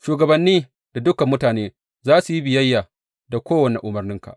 Shugabanni da dukan mutane za su yi biyayya da kowane umarninka.